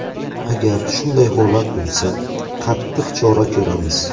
Agar shunday holat bo‘lsa, qattiq chora ko‘ramiz.